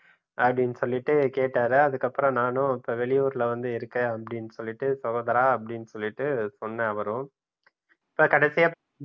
அப்படின்னு சொல்லிட்டு கேட்டாரு அதுக்கு அப்புறம் நானும் இப்ப வெளியூர்ல வந்து இருக்கேன் அப்டின்னு சொல்லிட்டு சகோதரா அப்படின்னு சொல்லிட்டு சொன்ன அவரும் கடைசியா